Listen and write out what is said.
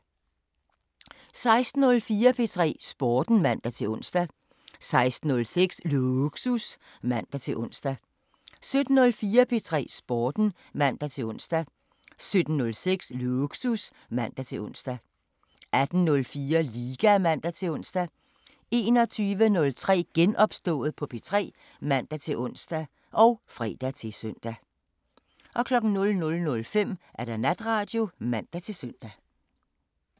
16:04: P3 Sporten (man-ons) 16:06: Lågsus (man-ons) 17:04: P3 Sporten (man-ons) 17:06: Lågsus (man-ons) 18:04: Liga (man-ons) 21:03: Genopstået på P3 (man-ons og fre-søn) 00:05: Natradio (man-søn)